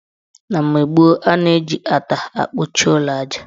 Na mgbe gboo, ana-eji ata akpuchi ụlọ aja.